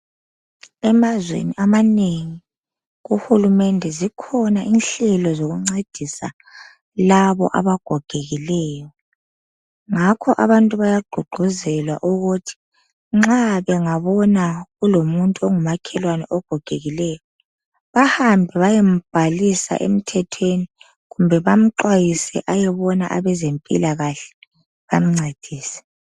emazweni amanengi kuhulumende zikhona inhlelo zokungcedisa labo abagogekileyo ngakho abantu bayagqugquzelwa ukuthi nxa bengabona kulomuntu ongumakhelwane ogogekileyo bahambe bayembhalisa emthethweni kumbe bamxhwayise ayebona abezempilakahle bamncedise